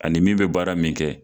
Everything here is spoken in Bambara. Ani min bɛ baara min kɛ